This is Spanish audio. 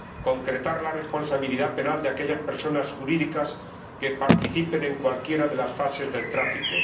concretar la responsabilidad penal de aquellas personas jurídicas que participen en cualquiera de las fases del tráfico